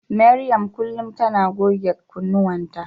Mariam kullum tana goge kunnuwanta.